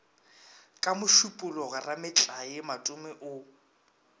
ka mošupologo rametlae matome o